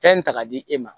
Fɛn ta ka di e ma